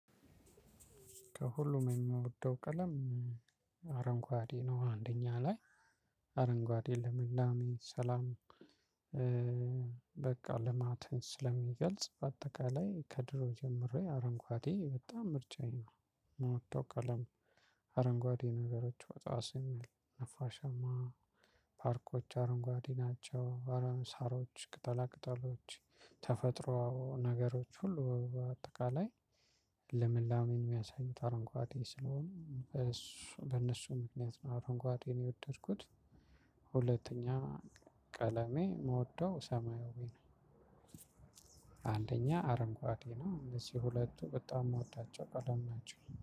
ከሁሉም የምወደው ቀለም አረንጓዴ ነው። አንደኛ ላይ አረንጓዴ ልምላሜ ሰላም። በቃ ልማትን ስለሚገልጽ በአጠቃላይ ከድሮ ጀምሬ አረንጓዴ በጣም ምርጫዬ የምወደው ቀለም ነው። አረንጓዴ ነገሮች ወጣ ስንል ነፋሻማ ፓርኮች አረንጓዴ ናቸው። አረን ሳሮች ቅጠላ ቅጠሎች ተፈጥሮ ነገሮች ሁሉ በአጠቃላይ ልምላሜን የሚያሳይ አረንጓዴ ስለሆነ በእነሱ ምክንያት ነው አረንጓዴን የወደድኩት። ሁለተኛ ቀለሜ የምውደው ሰማያዊ ነው። አንደኛ አረንጓዴ ነው እነዚህ ሁለቱ በጣም የምወዳቸው ቀለሞች ነው